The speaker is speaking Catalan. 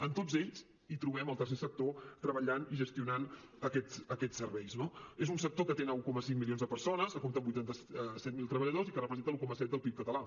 en tots ells hi trobem el tercer sector treballant i gestionant aquests serveis no és un sector que atén un coma cinc milions de persones que compta amb vuitanta set mil treballadors i que representa l’un coma set del pib català